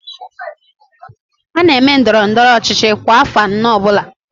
A na-eme ndọrọndọrọ ọchịchị kwa afọ anọ ọbụla